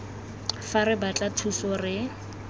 fa re batla thuso re